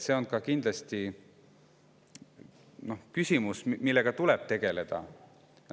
See on kindlasti küsimus, millega tuleb tegeleda.